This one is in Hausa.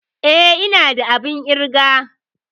Eh ina da abun ƙirga.